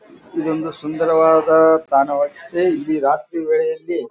ಇದೊಂದು ಸುಂದರವಾದ ತಾಣವಾಗಿದೆ ಇಲ್ಲಿ ರಾತ್ರಿ ವೇಳೆಯಲ್ಲಿ --